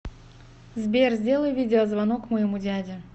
сбер сделай видеозвонок моему дяде